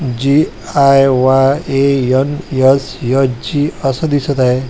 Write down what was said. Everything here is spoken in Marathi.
जी_आय_वाय_एन_एस_एच_जी असं दिसत आहे.